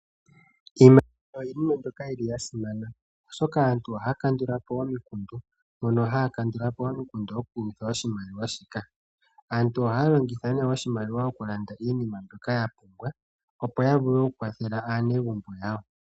Iimaliwa iinima mbyoka yili yasimana oshoka aantu ohaya kandulapo omikundu mbono haya kandulapo omikundu okulingitha oshimaliwa shika aantu ohaya longitha ne oshimaliwa okulanda iinima mbyoka yapumbwa opo yavule okukwathela aanegumbo yawo.